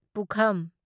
ꯄꯨꯈꯝ